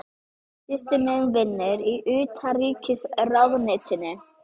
Systir mín vinnur í Utanríkisráðuneytinu.